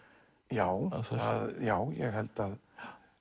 já já ég held að